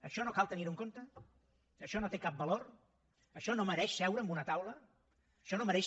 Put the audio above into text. això no cal tenirho en compte això no té cap valor això no mereix seure en una taula això no mereix